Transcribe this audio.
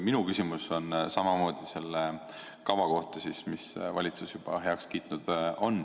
Minu küsimus on samamoodi selle kava kohta, mille valitsus on juba heaks kiitnud.